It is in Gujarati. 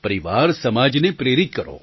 પરિવાર સમાજને પ્રેરિત કરો